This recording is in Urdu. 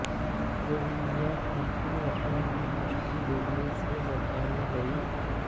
روہنجیا تارکین وطن کی کشتی ڈوبنے سے بچا لی گئی